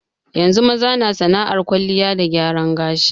Yanzu maza na sana'ar kwalliya da gyaran gashi.